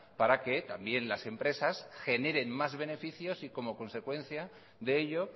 para que también las empresas generen más beneficios y como consecuencia de ello